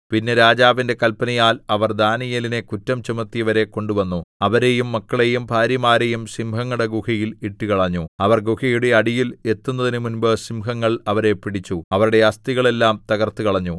പിന്നെ രാജാവിന്റെ കല്പനയാൽ അവർ ദാനീയേലിനെ കുറ്റം ചുമത്തിയവരെ കൊണ്ടുവന്നു അവരെയും മക്കളെയും ഭാര്യമാരെയും സിംഹങ്ങളുടെ ഗുഹയിൽ ഇട്ടുകളഞ്ഞു അവർ ഗുഹയുടെ അടിയിൽ എത്തുന്നതിന് മുമ്പ് സിംഹങ്ങൾ അവരെ പിടിച്ചു അവരുടെ അസ്ഥികളെല്ലാം തകർത്തുകളഞ്ഞു